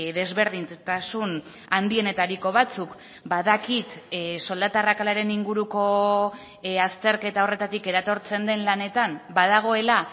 desberdintasun handienetariko batzuk badakit soldata arrakalaren inguruko azterketa horretatik eratortzen den lanetan badagoela